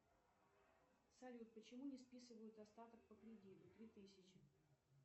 салют почему не списывают остаток по кредиту три тысячи